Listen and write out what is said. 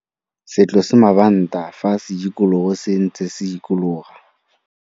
Se tlose mabanta fa sedikologo se ntse se dikologa.